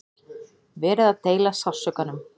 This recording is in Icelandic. Verið að deila sársaukanum